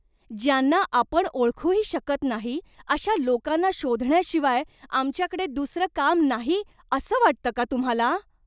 ज्यांना आपण ओळखूही शकत नाही अशा लोकांना शोधण्याशिवाय आमच्याकडे दुसरं काम नाही असं वाटतं का तुम्हाला?